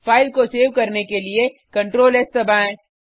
file को save करने के लिए CtrlS दबाएँ